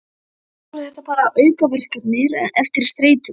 Kannski voru þetta bara aukaverkanir eftir streituna.